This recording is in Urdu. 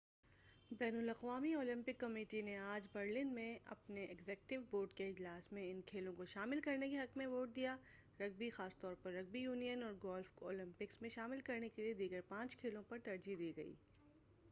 بین الاقوامی اولمپک کمیٹی نے آج برلن میں اپنے ایگزیکٹو بورڈ کے اجلاس میں ان کھیلوں کو شامل کرنے کے حق میں ووٹ دیا رگبی خاص طور پر رگبی یونین اور گولف کو اولمپکس میں شامل کرنے کیلئے دیگر پانچ کھیلوں پر ترجیح دی گئی